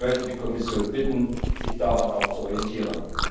Ich möchte die Kommission bitten, sich daran zu orientieren.